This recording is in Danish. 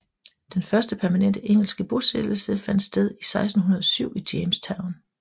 Den første permanente engelske bosættelse fandt sted i 1607 i Jamestown